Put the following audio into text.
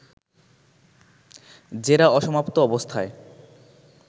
জেরা অসমাপ্ত অবস্থায়